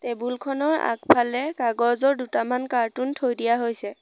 Table খনৰ আগফালে কাগজৰ দুটামান কাৰ্টুন থৈ দিয়া হৈছে।